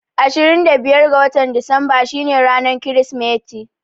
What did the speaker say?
Ashirin da biyar ga watan Disamba shi ne ranar Kirismeti